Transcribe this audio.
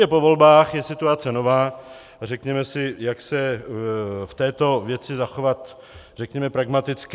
Je po volbách, je situace nová a řekněme si, jak se v této věci zachovat řekněme pragmaticky.